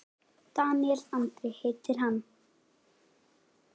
Daníel Andri heitir hann.